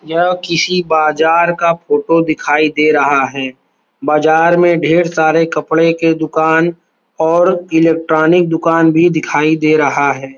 यह किसी बाजार का फोटो दिखाई दे रहा है। बाजार में ढ़ेर सारे कपड़े के दुकान और इलेक्ट्रॉनिक दुकान भी दिखाई दे रहा है।